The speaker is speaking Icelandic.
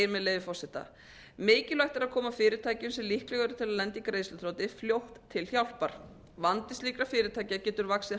með leyfi forseta mikilvægt er að koma fyrirtækjum sem líkleg eru til að lenda í greiðsluþroti fljótt til hjálpar vandi slíkra fyrirtækja getur vaxið